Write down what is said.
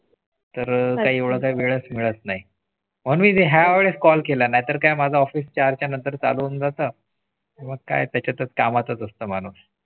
तर काही वेळच मिळत नाही ह्या वेडेस Call केला नाही तर काय माझा Office चार त्यानंतर चालून जातं मग काय त्याच्या तच काम असतं म्हणून.